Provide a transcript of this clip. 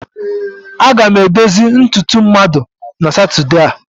Aga m edozi ntutu mmadụ na Satọde a.